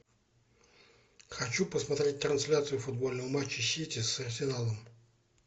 хочу посмотреть трансляцию футбольного матча сити с арсеналом